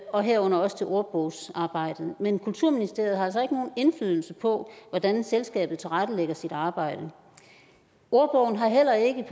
og herunder også til ordbogsarbejdet men kulturministeriet har altså ikke nogen indflydelse på hvordan selskabet tilrettelægger sit arbejde ordbogen har heller ikke